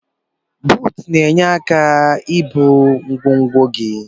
Buut na enye aka ibu ngwogwo gi.